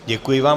Děkuji vám.